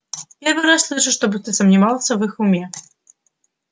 первый раз слышу чтобы ты сомневался в их уме